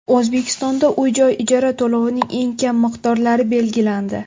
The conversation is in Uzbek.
O‘zbekistonda uy-joy ijara to‘lovining eng kam miqdorlari belgilandi.